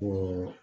O